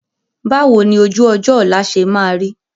Báwo ni ojú-ọjọ́ ọ̀la ṣe máa rí?